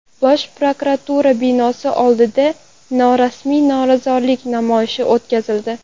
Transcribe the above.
Bosh prokuratura binosi oldida norasmiy norozilik namoyishi o‘tkazildi.